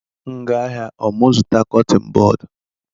M gaa ahịa, ọ mụ zụta cutin bọd?